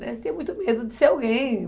Né, Você tinha muito medo de ser alguém.